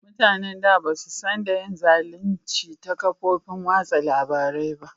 Mutanen da ba su San da yin zalunci ta kofofin watsa labari ba